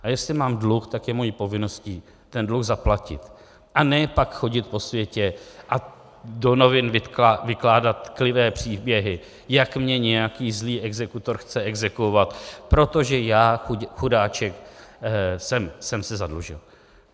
A jestli mám dluh, tak je mou povinností ten dluh zaplatit, a ne pak chodit po světě a do novin vykládat tklivé příběhy, jak mě nějaký zlý exekutor chce exekuovat, protože já chudáček jsem se zadlužil.